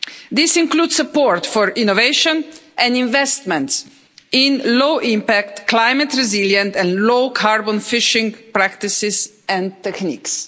This includes support for innovation and investment in low impact, climate resilient and low carbon fishing practices and techniques.